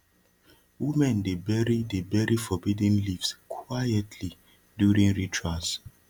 women dey bury dey bury forbidden leaves quietly during rituals